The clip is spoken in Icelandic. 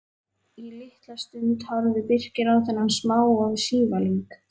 Í litla stund horfði Birkir á þennan smáa sívalning.